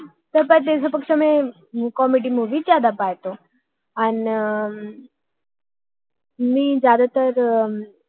त्यापेक्षा मी comedy comedy movie जास्त बघते अं आणि मी जास्त वेळा